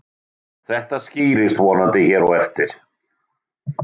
Þetta skýrist vonandi hér á eftir.